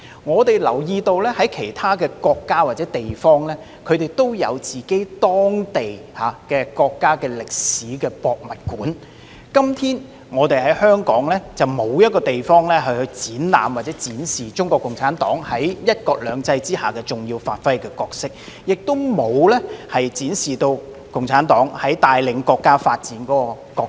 我們留意到，其他國家或地方均設有當地的國家歷史博物館，但香港至今仍沒有地方專供展示中國共產黨在"一國兩制"下發揮的重要角色，或展示共產黨帶領國家發展所擔當的角色。